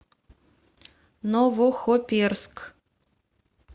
новохоперск